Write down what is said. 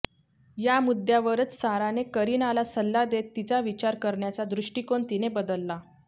या मुद्द्यावरच साराने करीनाला सल्ला देत तिचा विचार करण्याचा दृष्टीकोन तिने बदलला